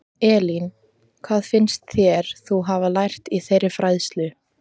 Elín: Hvað finnst þér þú hafa lært í þeirri fræðslu?